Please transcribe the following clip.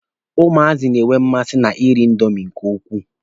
Ụmụazị na-enwe mmasi na iri indomi nke ukwuu.